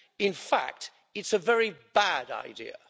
In fact it's a very bad idea.